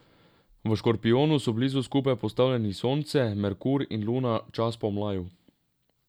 V Škorpijonu so blizu skupaj postavljeni Sonce, Merkur in Luna, čas po mlaju.